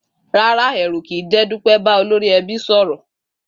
Rárá, è̩rù̩ kì í jé̩ Dúpé̩ bá olórí e̩bí sò̩rò̩